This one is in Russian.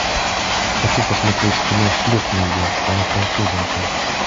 хочу посмотреть кино шлепни ее она француженка